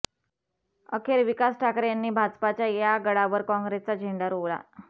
अखेर विकास ठाकरे यांनी भाजपाच्या या गडावर काँग्रेसचा झेंडा रोवला